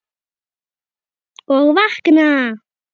Og vakna!